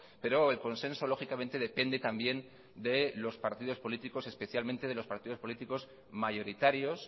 pero el consenso lógicamente depende también de los partidos políticos especialmente de los partidos políticos mayoritarios